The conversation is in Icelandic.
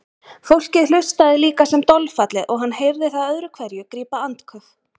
Fólkið hlustaði líka sem dolfallið og hann heyrði það öðru hverju grípa andköf.